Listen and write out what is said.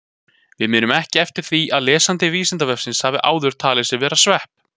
Við munum ekki eftir því að lesandi Vísindavefsins hafi áður talið sig vera svepp!